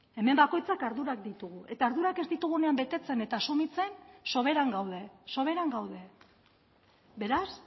hemen bakoitzak ardurak ditugu eta ardurak ez ditugunean betetzen eta asumitzen soberan gaude soberan gaude beraz